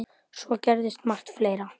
Svo gerist margt fleira.